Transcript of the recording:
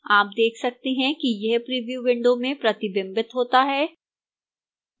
आप देख सकते हैं कि यह प्रिव्यू window में प्रतिबिंबित होता है